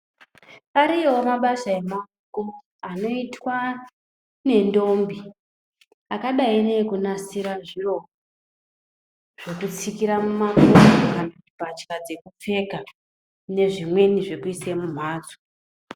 Ariyowo mabasa emawoko anoitwa nendombi akadai nekunasira zviro zvekutsikira mumakumbo ,mbatya dzekupfeka nezvimweni zvekuisa mumhatso